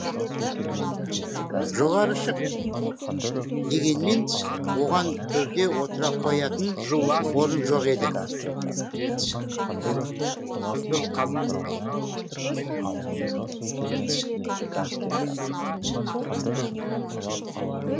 жоғары шық дегенмен оған төрде отыра қоятын орын жоқ еді